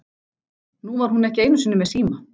Nú var hún ekki einusinni með síma.